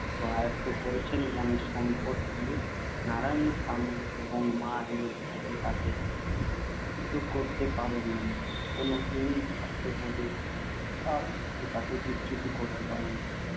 তা আয়ত্ত করেছে মনের সম্পদ দিয়ে। নারায়ণীর স্বামী এবং মা তাকে করতে পারে না কোন হীন স্বার্থবোধই এর থেকে তাকে বিচ্যুত করতে পারে না।